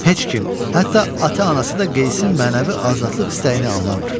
Heç kim, hətta ata-anası da Qeysin mənəvi azadlıq istəyini anlamır.